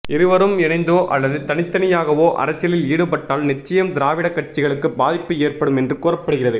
இருவரும் இணைந்தோ அல்லது தனித்தனியாகவோ அரசியலில் ஈடுபட்டால் நிச்சயம் திராவிட கட்சிகளுக்கு பாதிப்பு ஏற்படும் என்று கூறப்படுகிறது